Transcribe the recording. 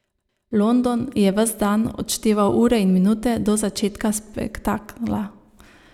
London je ves dan odšteval ure in minute do začetka spektakla.